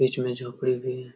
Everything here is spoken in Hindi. बीच में झोपड़ी भी है।